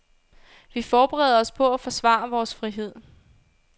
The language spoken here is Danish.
Vi forbereder os på at forsvare vores frihed.